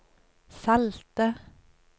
salte